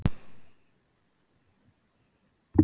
Karlmennirnir vita ekkert, hugsaði hann.